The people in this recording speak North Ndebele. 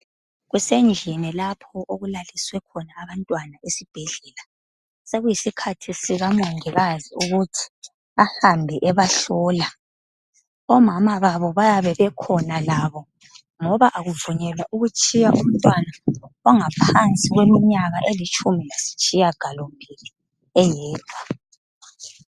Kusendlini lapho okulaliswe abantwana esibhedlela. Sekuyisikhathi sika mongikazi ukuthi ahambe ebahlola. Omama babo bayabe bekhona labo ngoba akuvunyelwa ukutshiya umtwana ongaphansi kweminyaka elitshumi lasitshiya ngalo mbili eyedwa.